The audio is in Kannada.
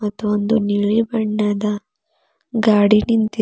ಇದೊಂದು ನೀಲಿ ಬಣ್ಣದ ಗಾಡಿ ನಿಂತಿ--